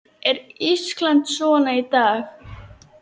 Er Ísland svona í dag?